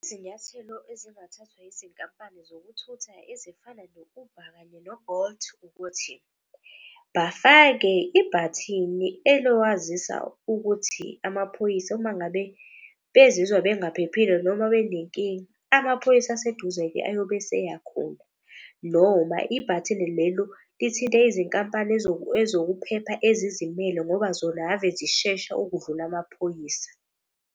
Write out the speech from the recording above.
Izinyathelo ezingathathwa izinkampani zokuthutha ezifana no-Uber kanye no-Bolt ukuthi, bafake ibhathini elokwazisa ukuthi amaphoyisa uma ngabe bezizwa bengaphephile noma benenkinga. Amaphoyisa aseduze-ke ayobe eseya khona. Noma ibhathini lelo lithinte izinkampani ezokuphepha ezizimele ngoba zona ave zishesha ukudlula amaphoyisa.